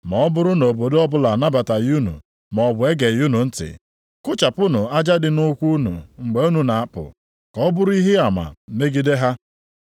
Ma ọ bụrụ na obodo ọbụla anabataghị unu maọbụ egeghị unu ntị, kụchapụnụ aja dị nʼụkwụ unu mgbe unu na-apụ, ka ọ bụrụ ihe ama megide ha.”